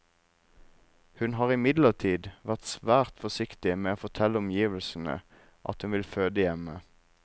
Hun har imidlertid vært svært forsiktig med å fortelle omgivelsene at hun vil føde hjemme.